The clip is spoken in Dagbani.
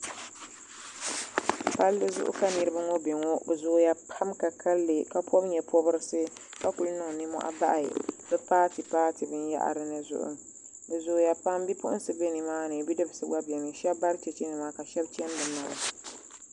Palli zuɣu ka niriba ŋɔ be ŋɔ bɛ zooya pam ka kalli ka pobi nyɛpobrisi ka kuli niŋ ninmohi pahi bɛ paati paati binyahiri zuɣu bɛ zooya pam bipuɣinsi biɛnima ni bidibsi gba be ni sheba bari cheche nima ka sheba cheni bɛ naba.